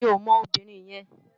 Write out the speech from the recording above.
Mi ó mò óbìrín yèn